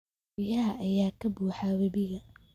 Biyaha ayaa ka buuxa webiga